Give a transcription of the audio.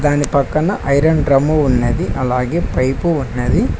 దాని పక్కన iron drum ఉన్నది అలాగే పైపు ఉన్నది.